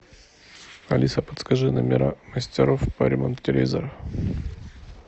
алиса подскажи номера мастеров по ремонту телевизора